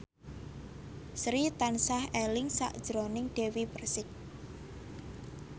Sri tansah eling sakjroning Dewi Persik